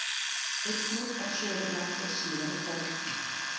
Einnig á Suðurlandi síðar í kvöld